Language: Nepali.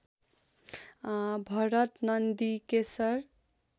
भरत नन्दीकेशर